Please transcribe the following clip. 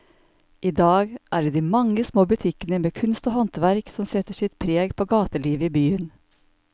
I dag er det de mange små butikkene med kunst og håndverk som setter sitt preg på gatelivet i byen.